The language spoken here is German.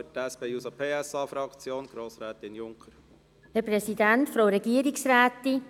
Für die SP-JUSO-PSA-Fraktion erteile ich Grossrätin Junker das Wort.